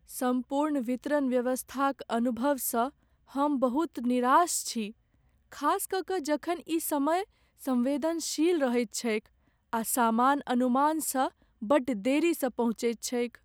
सम्पूर्ण वितरण व्यवस्था क अनुभव स हम बहुत निराश छी खास क के जखन इ समय संवेदनशील रहैत छैकआ सामान अनुमान स बड्ड देरी स पहुँचैत छैक।